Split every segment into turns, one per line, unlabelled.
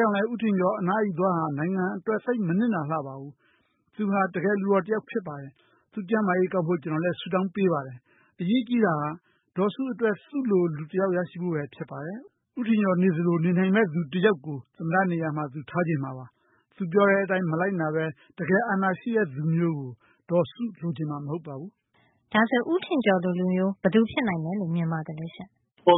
ကြောင့်လည်း ဦးထင်ကျော်အနားယူသွားတာဟာ နိုင်ငံအတွက် သိပ်မနစ်နာလှပါဘူး။ သူဟာ တကယ်လူတော်တယောက်ပါ။ သူ့ကျန်းမာရေးကောင်းဖို့ ကျွန်တော်ဆုတောင်းပေးပါတယ်။ အရေးကြီးတာက ဒေါ်စုအတွက် သူလိုလူ တယောက်ရဖို့ပါ။ ဦးထင်ကျော်လုပ်သလို လုပ်နိုင်မယ့်သူ တယောက်ကို သမ္မတနေရာမှာ သူထားချင်မှာပါ။ သူပြောတဲ့အတိုင်းမလိုက်နာပဲ တကယ်အာဏာရှိတဲ့သူမျိုးကို ဒေါ်စုလိုချင်မှာ မဟုတ်ပါဘူး။”
ဦးထင်ကျော်လိုလူမျိုး ဘယ်သူဖြစ်နိုင်မယ်လို့ မြင်ပါသလဲ။
ပြော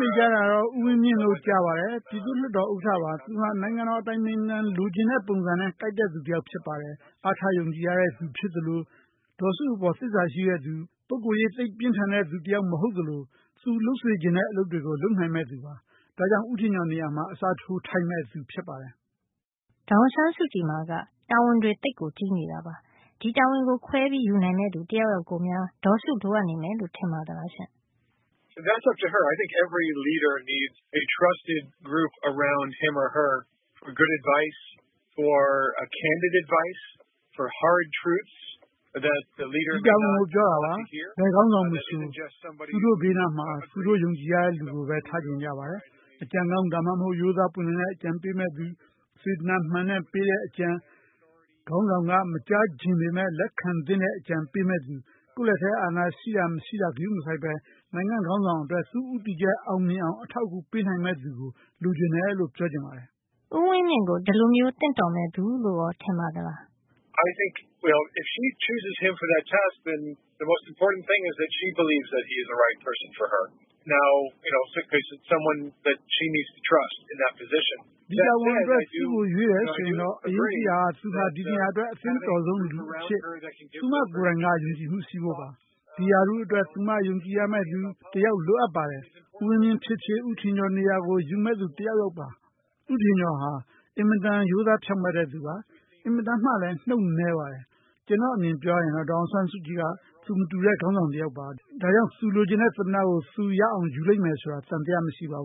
နေကြတာတော့ ဦးဝင်းမြင့်လို့ ကြားပါတယ်။ ပြည်သူ့လွှတ်တော် ဥက္ကဌပါ။ သူဟာ နိုင်ငံတော်အတိုင်ပင်ခံပုဂ္ဂိုလ် လိုချင်တဲ့ပုံစံနဲ့ ကိုက်တဲ့သူ တယောက် ဖြစ်ပါတယ်။ အားထားယုံကြည်ရတဲ့သူ ဒေါ်စုအပေါ်သစ္စာရှိတဲ့သူ၊ ပုဂ္ဂိုလ်ရေးသိပ်ပြင်းထန်တဲ့သူမဟုတ်သလို သူလုပ်စေချင်တဲ့ အလုပ်တွေကို လုပ်နိုင်မယ့်သူပါ။ ဒါကြောင့်ဦးထင်ကျော်နေရာမှာ အစားထိုးထိုက်မယ့်သူ ဖြစ်ပါတယ်။
ဒေါ်အောင်ဆန်းစုကြည်မှာ တာဝန်တွေက သိပ်ကြီးနေတာပါ။ ဒီတာဝန်ကို ခွဲယူနိုင်မယ့်သူ တယောက်ယောက်ကိုများ ဒေါ်စုလိုအပ်နေမယ် လို့ထင်ပါသလား။
ဒီတာဝန်ကိုပြောတာပါ။ ဘယ်ခေါင်းဆောင်မဆို သူတို့ရဲ့ဘေးမှာ သူတို့ယုံကြည်ရမယ့်သူကိုပဲ ထားချင်ကြတာပါ။ အကြံကောင်း ဒါမှမဟုတ်ရင် ရိုးသားပွင့်လင်းတဲ့အကြံပေးမယ့်သူ၊ စေတနာမှန်တဲ့ ပေးတဲ့အကြံ၊ ခေါင်းဆောင်က မကြားချင်ပေမယ့် လက်ခံသင့်တဲ့ အကြံပေးမယ့်သူ၊ ကိုယ့်လက်ထဲ အာဏာရှိတာမရှိတာ ဂရုမစိုက်ပဲ နိုင်ငံ့ခေါင်းဆောင်အတွက် သူ့ဦးတည်ချက် အောင်မြင်အောင် အထောက်အကူပေးနိုင်မယ့်သူ လိုတယ်လို့ ပြောချင်ပါတယ်။”
ဦးဝင်းမြင့်ကို ဒီလိုမျိုးသင့်တော်မယ့်သူလို့ကော ထင်ပါသလား။
ဒီတာဝန်အတွက် သူ့ကိုရွေးတယ်ဆိုရင်တော့ အရေးကြီးတာက သူဟာ ဒီနေရာအတွက် အသင့်တော်ဆုံးလူအဖြစ် သူမကိုယ်တိုင်က ယုံကြည်မှုရှိဖို့ပါ။ ဒီရာထူးအတွက် သူမယုံကြည်ရမယ့်သူ တယောက်လိုပါတယ်။ ဦးဝင်းမြင့်ဖြစ်ဖြစ် ဦးထင်ကျော်နေရာကို ယူမယ့်သူ တယောက်ပါ။ ဦးထင်ကျော်ဟာ အင်မတန်ရိုးသားဖြောင့်မှန်တဲ့သူပါ။ အင်မတန်မှလဲ နှုတ်နဲပါတယ်။ ကျွန်တော့် အမြင်ပြောရရင် ဒေါ်အောင်ဆန်းစုကြည်က သူမတူတဲ့ ခေါင်းဆောင်တယောက်ပါ။ ဒါကြောင့် သူလိုချင်တဲ့သမ္မတကို သူရအောင်ယူမယ်ဆိုတာ သံသယ မရှိပါဘ